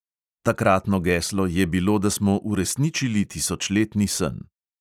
Takratno geslo je bilo, da smo uresničili tisočletni sen.